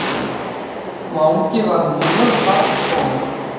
Mangi var mjög barngóður.